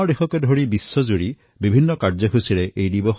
দেশ আৰু বিশ্বত বহুধৰণৰ কাৰ্যসূচী অনুষ্ঠিত কৰা হয়